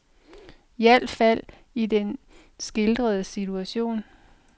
I alt fald i den skildrede situation.